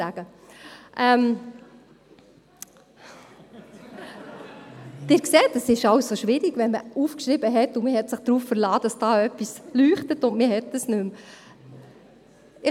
Sie sehen: Es ist schwierig, wenn man etwas aufgeschrieben hat und sich darauf verlassen hat, dass da etwas leuchtet, und dann hat man es nicht mehr.